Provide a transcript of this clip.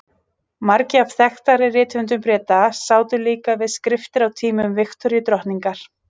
Margir af þekktari rithöfundum Breta sátu líka við skriftir á tímum Viktoríu drottningar.